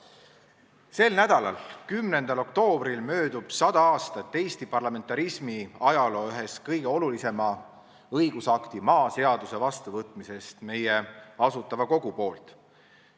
Sel nädalal, 10. oktoobril möödub 100 aastat Eesti parlamentarismi ajaloo ühe kõige olulisema õigusakti – maaseaduse – vastuvõtmisest meie Asutava Kogu poolt.